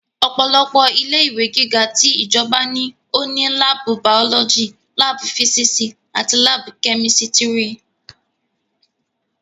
Ọ̀pọ̀lọpọ̀ ilé ìwé gíga ti ìjọba ní ó ní láàbù bàọ́lọ́jì, láàbù físísì àti láàbù kẹ́mísítírì